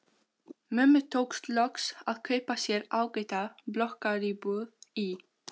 Mömmu tókst loks að kaupa sér ágæta blokkaríbúð í